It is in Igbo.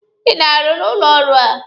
Ị na-arụ n'ụlọ ọrụ a?